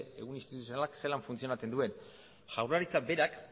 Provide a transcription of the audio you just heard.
ehun instituzionalak zelan funtzionatzen duen jaurlaritzak berak